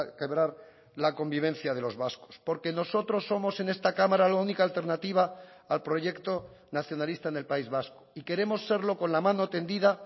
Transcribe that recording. quebrar la convivencia de los vascos porque nosotros somos en esta cámara la única alternativa al proyecto nacionalista en el país vasco y queremos serlo con la mano tendida